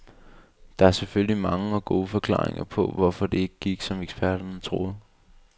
Der er selvfølgelig mange og gode forklaringer på, hvorfor det ikke gik, som eksperterne troede.